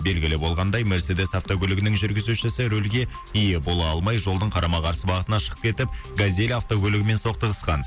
белгілі болғандай мерседес автокөлігінің жүргізушісі рөлге ие бола алмай жолдың қарама қарсы бағытына шығып кетіп газель автокөлігімен соқтығысқан